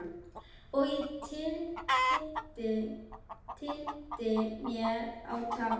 Og ég tyllti mér á tá.